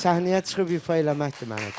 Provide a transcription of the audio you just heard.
Səhnəyə çıxıb ifa eləməkdir mənə düşən.